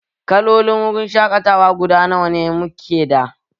Kalolin wurin shaƙatawa guda nawa mu ke da?